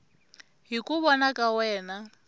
hi ku vona ka wena